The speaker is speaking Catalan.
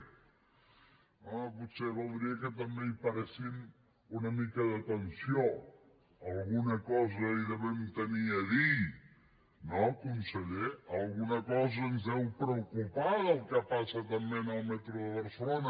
home potser valdria que també hi paressin una mica d’atenció alguna cosa hi devem tenir a dir no conseller alguna cosa ens deu preocupar del que passa també en el metro de barcelona